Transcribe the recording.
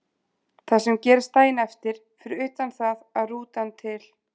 Það sem gerist daginn eftir, fyrir utan það að rútan til